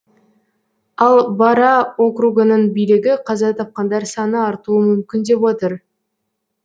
ал бара округының билігі қаза тапқандар саны артуы мүмкін деп отыр